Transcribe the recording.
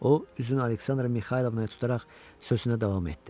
O üzünü Aleksandra Mixaylovnaya tutaraq sözünə davam etdi.